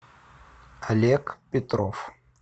олег петров